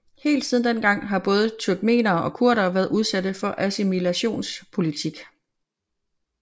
Helt siden den gang har både turkmenere og kurderne været udsatte for assimilationspolitik